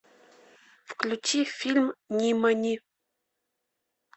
включи фильм нимани